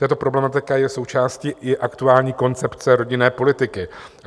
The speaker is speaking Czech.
Tato problematika je součástí i aktuální koncepce rodinné politiky.